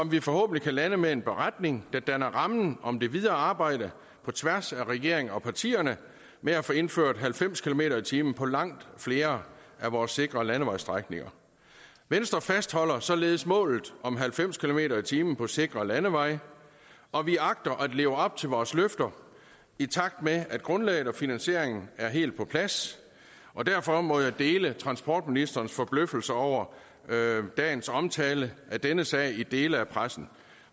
vi forhåbentlig kan lande med en beretning der danner rammen om det videre arbejde på tværs af regeringen og partierne med at få indført halvfems kilometer per time på langt flere af vores sikre landevejsstrækninger venstre fastholder således målet om halvfems kilometer per time på sikre landeveje og vi agter at leve op til vores løfter i takt med at grundlaget og finansieringen er helt på plads og derfor må jeg deler transportministerens forbløffelse over dagens omtale af denne sag i dele af pressen